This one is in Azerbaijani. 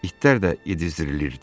İtlər də yedizdirilirdi.